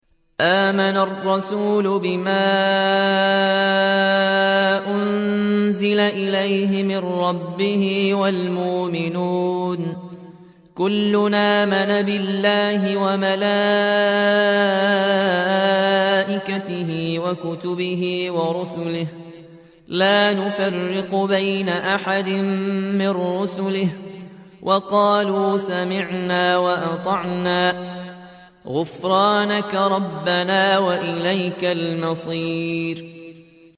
آمَنَ الرَّسُولُ بِمَا أُنزِلَ إِلَيْهِ مِن رَّبِّهِ وَالْمُؤْمِنُونَ ۚ كُلٌّ آمَنَ بِاللَّهِ وَمَلَائِكَتِهِ وَكُتُبِهِ وَرُسُلِهِ لَا نُفَرِّقُ بَيْنَ أَحَدٍ مِّن رُّسُلِهِ ۚ وَقَالُوا سَمِعْنَا وَأَطَعْنَا ۖ غُفْرَانَكَ رَبَّنَا وَإِلَيْكَ الْمَصِيرُ